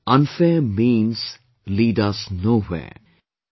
Thus unfair means lead us nowhere